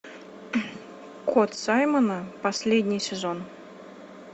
кот саймона последний сезон